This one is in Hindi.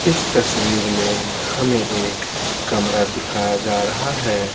इस तस्वीर में हमें एक कमरा दिखाया जा रहा है।